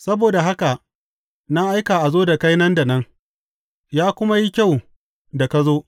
Saboda haka na aika a zo da kai nan da nan, ya kuma yi kyau da ka zo.